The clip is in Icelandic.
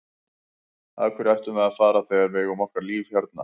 Af hverju ættum við að fara þegar við eigum okkar líf hérna?